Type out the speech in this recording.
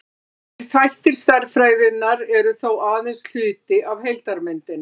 þessir þættir stærðfræðinnar eru þó aðeins hluti af heildarmyndinni